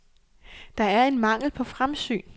Der er en mangel på fremsyn.